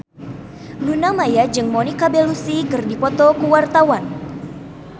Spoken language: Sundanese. Luna Maya jeung Monica Belluci keur dipoto ku wartawan